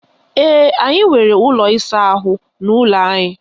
Ee, anyị nwere ụlọ ịsa ahụ n'ụlọ anyị.